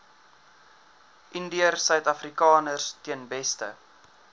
indiërsuidafrikaners ten beste